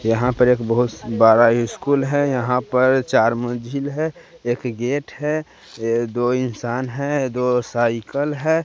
यहाँ पर एक बहोत बारा इ स्कूल है यहाँ पर चार मझिल है एक गेट है ये दो इंसान है दो साइकल है।